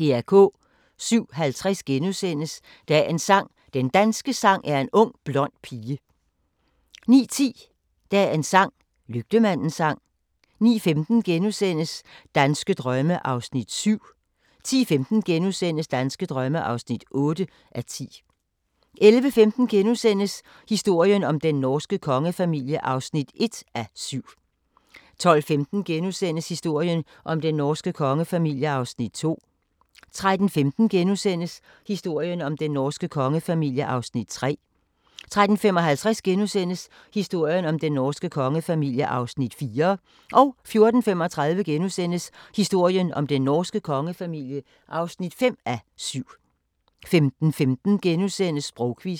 07:50: Dagens sang: Den danske sang er en ung blond pige * 09:10: Dagens sang: Lygtemandens sang 09:15: Danske drømme (7:10)* 10:15: Danske drømme (8:10)* 11:15: Historien om den norske kongefamilie (1:7)* 12:15: Historien om den norske kongefamilie (2:7)* 13:15: Historien om den norske kongefamilie (3:7)* 13:55: Historien om den norske kongefamilie (4:7)* 14:35: Historien om den norske kongefamilie (5:7)* 15:15: Sprogquizzen *